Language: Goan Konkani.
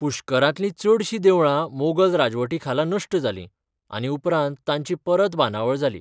पुष्करांतलीं चडशीं देवळां मोगल राजवटी खाला नश्ट जालीं, आनी उपरांत तांची परत बांदावळ जाली.